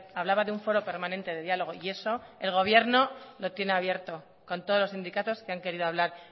hablaba de un foro permanente de diálogo y eso el gobierno lo tiene abierto con todos los sindicatos que han querido hablar